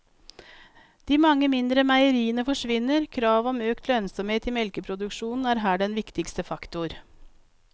De mange mindre meieriene forsvinner, kravet om større lønnsomhet i melkeproduksjonen er her den viktigste faktor.